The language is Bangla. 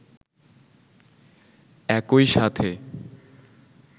একই সাথে